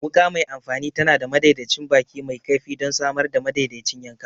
Wuka mai amfani tana da madaidaicin baki mai kaifi don samar da madaidaicin yanka.